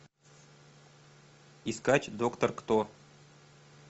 искать доктор кто